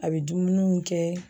A be dumuniw kɛ.